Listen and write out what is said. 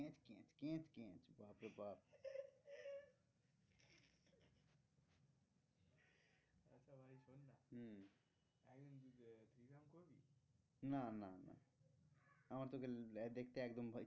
না না না আমার তো ওকে দেখতে একদম ভয়